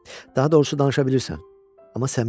Daha doğrusu danışa bilirsən, amma səmimi yox.